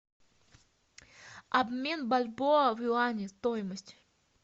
обмен бальбоа в юани стоимость